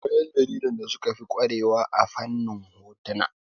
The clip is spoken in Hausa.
Akwai ƴan jaridan da suka fi ƙware wa a fannin hotuna